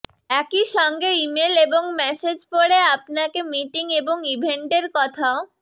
একই সঙ্গে ইমেল এবং মেসেজ পড়ে আপনাকে মিটিং এবং ইভেন্টের কথাও